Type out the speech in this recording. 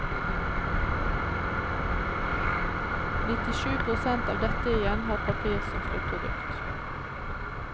Nittisju prosent av dette igjen har papir som sluttprodukt.